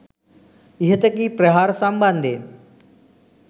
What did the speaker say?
ඉහත කී ප්‍රහාර සම්බන්ධයෙන්